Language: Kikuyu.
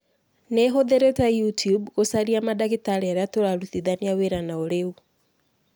Nĩ hũthĩrĩte YouTube gũcaria mandagĩtarĩ arĩa tũrarutithania wĩra nao riu.